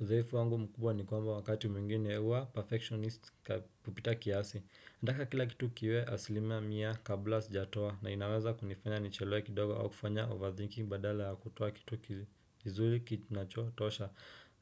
Udhaifu wangu mkubwa ni kwamba wakati mwingine huwa perfectionist kupita kiasi nataka kila kitu kiwe asilima mia kabla sijatoa na inaweza kunifanya nichelewe kidogo au kufanya overthinking badala ya kutoa kitu kizuri kinachotosha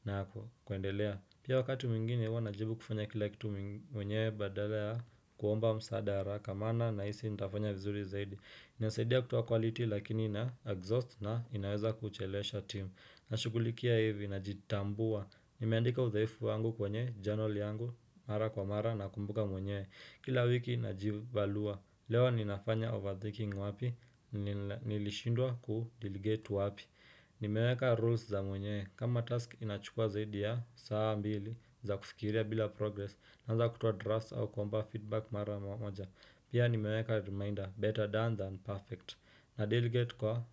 na kuendelea Pia wakati mwingine huwa najaribu kufanya kila kitu mwenyewe badala ya kuomba msaad haraka maana nahisi nitafanya vizuri zaidi inasaidia kutoa quality lakini na exhaust na inaweza kuchelewesha team Nashugulikia hivi najitambua Nimeandika udhaifu wangu kwenye, journal yangu, mara kwa mara nakumbuka mwenyewe Kila wiki najivalua Leo ninafanya overthinking wapi, nilishindwa ku delegate wapi Nimeweka rules za mwenyewe, kama task inachukua zaidi ya, saa mbili, za kufikiria bila progress Naanza kutoa drafts au kuomba feedback mara moja Pia nimeweka reminder, better done than perfect na delegate kwa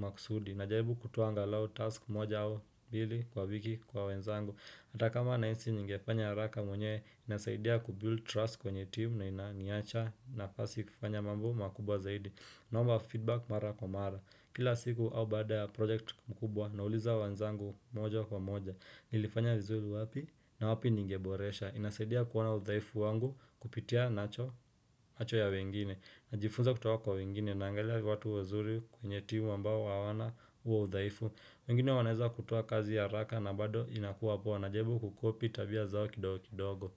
makusudi Najaribu kutoa angalau task moja au mbili kwa wiki kwa wenzangu Ata kama nahisi ningefanya haraka mwenyewe inasaidia kubuild trust kwenye team na inaniacha nafasi kufanya mambo makubwa zaidi Naomba feedback mara kwa mara Kila siku au baada ya project mkubwa nauliza wenzangu moja kwa moja Nilifanya vizuri wapi na wapi ningeboresha inasaidia kuona udhaifu wangu kupitia macho ya wengine Najifunza kutoka kwa wengine naangalia watu wazuri kwenye timu ambao hawana huo udhaifu wengine wanaeza kutoa kazi ya haraka na bado inakuwa poa najaribu kukopi tabia zao kidogo kidogo.